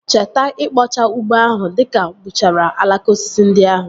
Cheta ikpochaa ugbo ahụ dịka gbuchara alaka osisi ndị ahụ